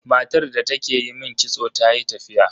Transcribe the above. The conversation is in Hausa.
Matar da take yi min kitso tayi tafiya.